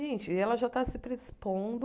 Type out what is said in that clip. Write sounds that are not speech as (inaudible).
Gente, ela já está se (unintelligible)